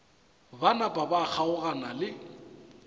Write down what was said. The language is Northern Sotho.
ba napa ba kgaogana le